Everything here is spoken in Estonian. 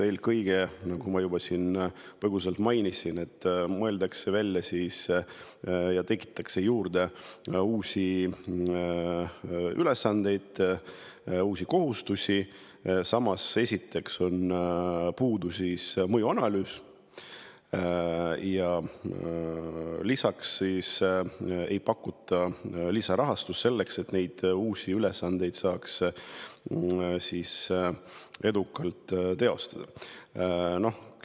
Eelkõige selle, nagu ma siin põgusalt juba mainisin, et mõeldakse välja ja tekitatakse juurde uusi ülesandeid, uusi kohustusi, samas, esiteks on puudu mõjuanalüüs ja ei pakuta lisarahastust, et neid uusi ülesandeid saaks edukalt teostada.